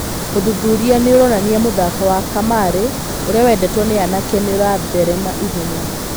Ũthuthuria nĩ ũronania mũthako wa kamarĩ ũrĩa wendetwo nĩ anake nĩũratherema ihenya.